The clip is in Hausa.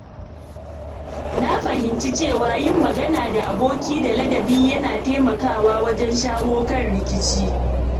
Na fahimci cewa yin magana da aboki da ladabi yana taimakawa wajen shawo kan rikici.